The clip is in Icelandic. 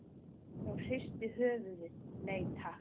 Hún hristi höfuðið, nei takk.